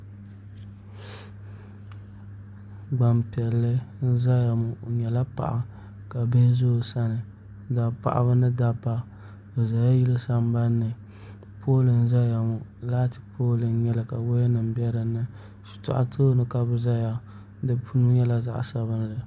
Gbanpiɛli n ʒɛya ŋɔ o nyɛla paɣa ka bihi ʒɛ o sani bi zaa paɣaba ni dabba bi ʒɛla yili sambanni pool n ʒɛya ŋɔ laati pool n nyɛli ka woya nim bɛ dinni shitɔɣa ni ka bi ʒɛya di puuni nyɛla zaɣ sabinli